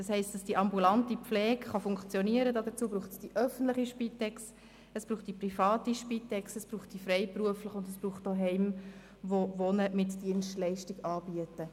Damit die ambulante Pflege funktionieren kann, braucht es die öffentliche Spitex, die private Spitex und die freiberuflich tätigen Pflegefachpersonen sowie Heime, die Wohnen mit Dienstleistungen anbieten.